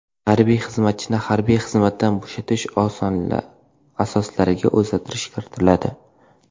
Harbiy xizmatchini harbiy xizmatdan bo‘shatish asoslariga o‘zgartirish kiritiladi.